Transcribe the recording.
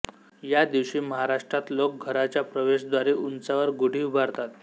या दिवशी महाराष्ट्रात लोक घराच्या प्रवेशद्वारी उंचावर गुढी उभारतात